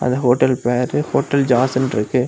Hotel பேரு hotel ஜாஸ்ன் இருக்கு.